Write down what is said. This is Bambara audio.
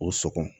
O sɔkɔ